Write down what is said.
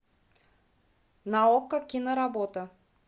на окко киноработа